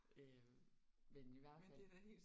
Øh men i hvert fald